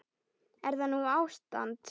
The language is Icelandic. Er það nú ástand!